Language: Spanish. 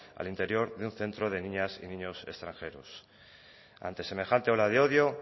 al interior de un centro de niñas y niños extranjeros ante semejante ola de odio